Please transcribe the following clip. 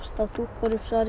þá dúkkar upp svarið í